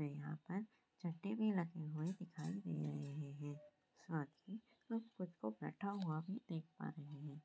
यहाँ पर झंडे भी लगे हुए दिखाई दे रहे हैं साथ ही एक कुत्ता बैठा हुआ है देख पा रहे हैं